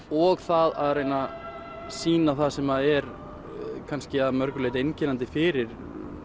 og það að reyna sýna það sem er kannski að mörgu leyti einkennandi fyrir